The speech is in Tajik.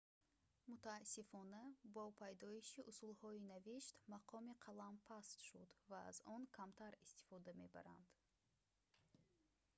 мутаассифона бо пайдоиши усулҳои навишт мақоми қалам паст шуд ва аз он камтар истифода мебаранд